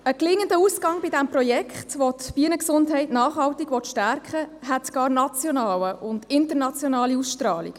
Ein gelingender Ausgang bei diesem Projekt, welches die Bienengesundheit nachhaltig stärken will, hätte sogar nationale und internationale Ausstrahlung.